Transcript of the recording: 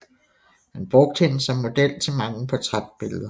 Han brugte hende som model til mange portrætbilleder